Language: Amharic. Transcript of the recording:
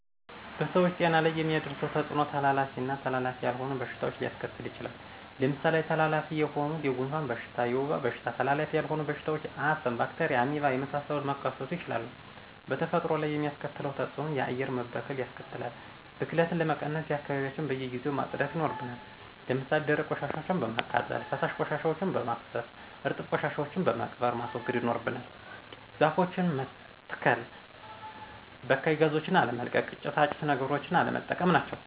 በሰዎች ጤና ላይ የሚያደርሰዉ ተጽኖ:-ተላላፊ ና ተላላፊ ያልሆኑ በሽታዎች ሊያሰከትል ይችላል። ለምሳሌ ተላላፊ የሆኑት:-የጉንፍን በሽታ፣ የወባ በሽታ ተላላፊ ያልሆኑ በሽታዎች :-አስም፣ ባክቴርያ፣ አሜባና የመሳሰሉት መከሰቱ ይችላሉ። በተፈጥሮ ላይ የሚያስከትለው ተጽእኖ :-የአየር መበከል ያስከትላል። ብክለትን ለመቀነስ :-አካባቢዎችያችን በየጊዜው ማጽዳት ይናርብናል። ለምሳሌ ደረቅ ቆሻሻወችን በማቃጠል፣ ፈሳሽ ቆሻሻወችን በማፋሰስ፣ እርጥብ ቆሻሻወችን በመቅበር ማስወገድ ይኖርብናል። ዛፎችን መተሰከል፣ በካይ ጋዞችን አለመልቀቅ፣ ጭሳጭስ ነገሮችን ቀለነጠቀም ናቸው።